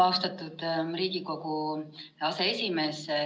Austatud Riigikogu aseesimees!